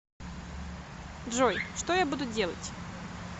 джой что я буду делать